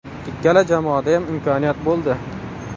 Ikkala jamoadayam imkoniyat bo‘ldi.